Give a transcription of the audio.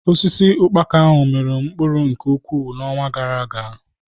Osisi ukpaka ahụ miri mkpụrụ nke ukwuu n'ọnwa gara-aga.